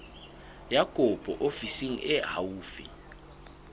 ya kopo ofising e haufi